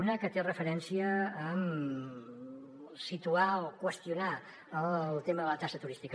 una que fa referència a situar o qüestionar el tema de la taxa turística